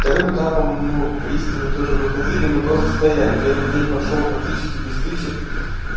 вторым этапом ну в бресте мы тоже выходили мы просто стояли первый день прошёл практически без стычек